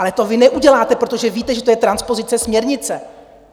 Ale to vy neuděláte, protože víte, že to je transpozice směrnice.